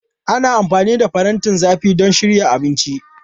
Ana amfani da farantin zafi don shirya abinci.